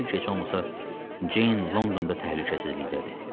Yaxşı ki, heç olmasa Ceyn Londonda təhlükəsizlikdədir.